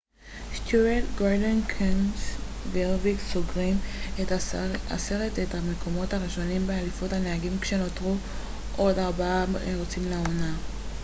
סטיוארט גורדון קנסת' והרביק סוגרים את עשרת המקומות הראשונים באליפות הנהגים כשנותרו עוד ארבעה מרוצים לעונה